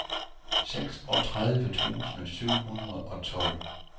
seksogtredive tusind syv hundrede og tolv